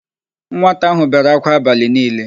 Nwata áhụ̀ bere ákwá abalị niile.